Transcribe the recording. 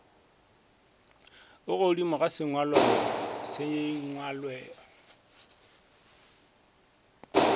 a godimodimo ya sengwalo le